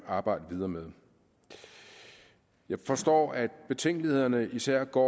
arbejde videre med jeg forstår at betænkelighederne især går